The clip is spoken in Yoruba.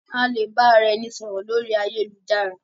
A lè ba ara ẹni sọ̀rọ̀ lórí ayélujára.